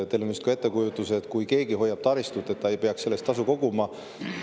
Teil on ilmselt ettekujutus, et kui keegi hoiab taristut, siis ta ei peaks selle eest tasu koguma.